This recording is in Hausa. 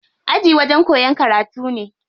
Aji wajen koyan karatu ne.